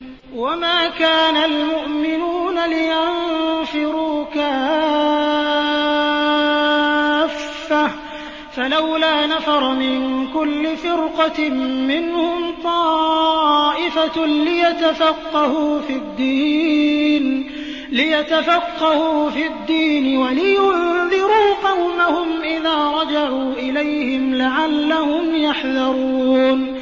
۞ وَمَا كَانَ الْمُؤْمِنُونَ لِيَنفِرُوا كَافَّةً ۚ فَلَوْلَا نَفَرَ مِن كُلِّ فِرْقَةٍ مِّنْهُمْ طَائِفَةٌ لِّيَتَفَقَّهُوا فِي الدِّينِ وَلِيُنذِرُوا قَوْمَهُمْ إِذَا رَجَعُوا إِلَيْهِمْ لَعَلَّهُمْ يَحْذَرُونَ